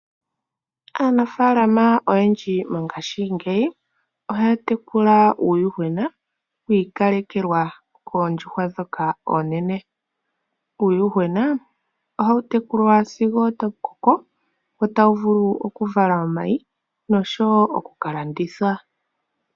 Aanafaalama oyendji mongashingeyi ohaya tekula uuyuhwena wi ikalekelwa koondjuhwa dhoka oonene. Uuyuhwena ohawu tekulwa sigo otawu koko, ta wu vulu oku vala omayi nosho wo oku ka landithwa.